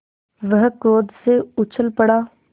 वह क्रोध से उछल पड़ा